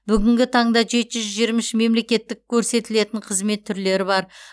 бүгінгі таңда жеті жүз жиырма үш мемлекеттік көрсетілетін қызмет түрлері бар